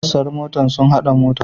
Sassan motar sun hada mota.